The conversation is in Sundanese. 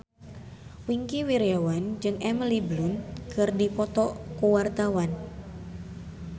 Wingky Wiryawan jeung Emily Blunt keur dipoto ku wartawan